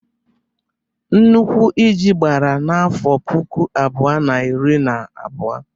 Nnukwu íjí gbara n’afọ puku abụọ na iri na abụọ.